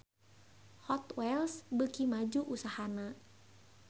Hot Wheels beuki maju usahana